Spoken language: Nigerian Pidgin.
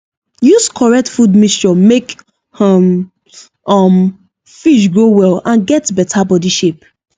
use correct food mixture make um um fish grow well and get better body shape